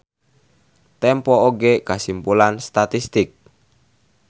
Tempo oge kasimpulan statistik.